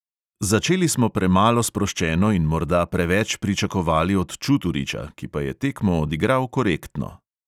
Začeli smo premalo sproščeno in morda preveč pričakovali od čuturiča, ki pa je tekmo odigral korektno.